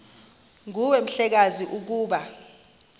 nguwe mhlekazi ukuba